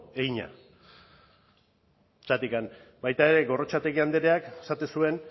egina zergatik baita ere gorrotxategi andreak esaten zuen